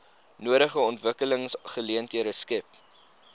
nodige ontwikkelingsgeleenthede skep